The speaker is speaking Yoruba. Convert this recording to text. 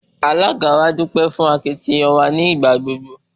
Alága wa dúpẹ́ fún àtìlẹ́yìn wa ní ìgbàgbogbo.